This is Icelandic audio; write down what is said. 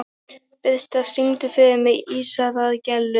Birtna, syngdu fyrir mig „Ísaðar Gellur“.